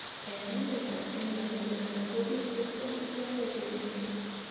eng' emetab kenya ak uganda ko biik tiptem ichekei che bendi